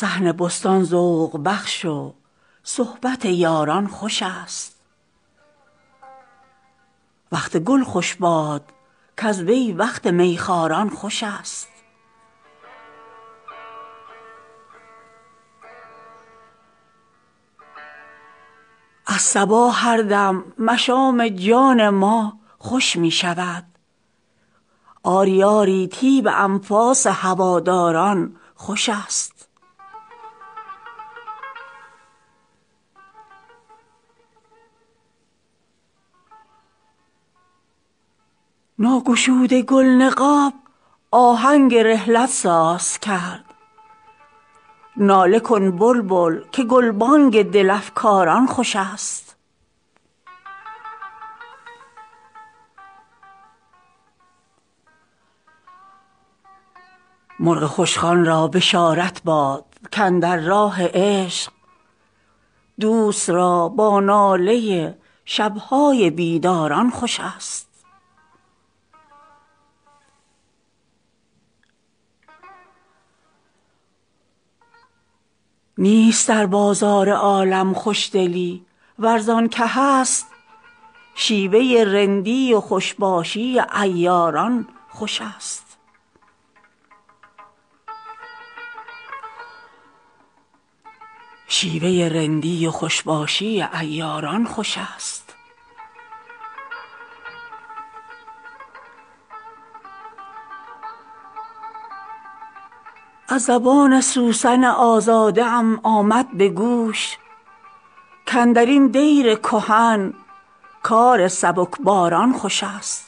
صحن بستان ذوق بخش و صحبت یاران خوش است وقت گل خوش باد کز وی وقت می خواران خوش است از صبا هر دم مشام جان ما خوش می شود آری آری طیب انفاس هواداران خوش است ناگشوده گل نقاب آهنگ رحلت ساز کرد ناله کن بلبل که گلبانگ دل افکاران خوش است مرغ خوشخوان را بشارت باد کاندر راه عشق دوست را با ناله شب های بیداران خوش است نیست در بازار عالم خوشدلی ور زان که هست شیوه رندی و خوش باشی عیاران خوش است از زبان سوسن آزاده ام آمد به گوش کاندر این دیر کهن کار سبکباران خوش است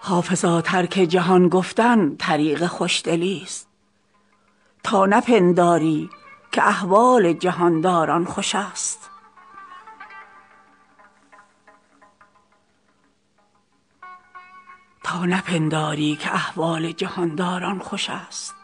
حافظا ترک جهان گفتن طریق خوشدلیست تا نپنداری که احوال جهان داران خوش است